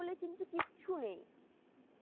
কিন্তু কিচ্ছু নেই